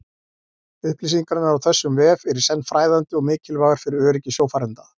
Upplýsingarnar á þessum vef eru í senn fræðandi og mikilvægar fyrir öryggi sjófarenda.